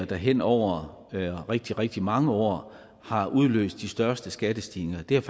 der hen over rigtig rigtig mange år har udløst de største skattestigninger det er